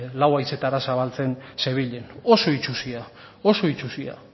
lau haizetara zabaltzen zebilen oso itsusia oso itsusia